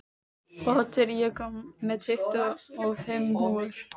Otur, ég kom með tuttugu og fimm húfur!